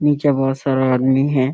नीचे बहुत सारा आदमी है।